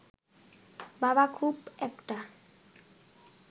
বাবা খুব একটা